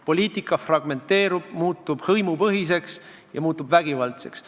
Poliitika fragmenteerub, muutub hõimupõhiseks ja vägivaldseks.